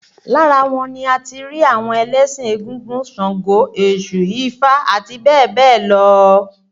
Lára wọn ni a ti rí àwọn ẹlẹ́sìn égúngún, sàngó, Èṣù, ifá àti bẹ́ẹ̀ bẹ́ẹ̀ lọ